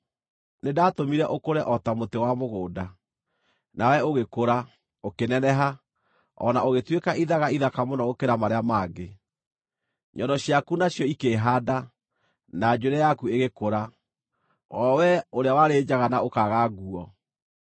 Nĩndatũmire ũkũre o ta mũtĩ wa mũgũnda. Nawe ũgĩkũra, ũkĩneneha, o na ũgĩtuĩka ithaga ithaka mũno gũkĩra marĩa mangĩ. Nyondo ciaku nacio ikĩĩhaanda, na njuĩrĩ yaku ĩgĩkũra, o wee ũrĩa warĩ njaga na ũkaaga nguo.